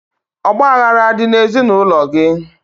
Ọgbaghara adị n'ezinaụlọ gị?